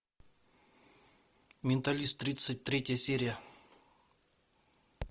менталист тридцать третья серия